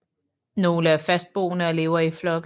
Nogle er fastboende og lever i flokke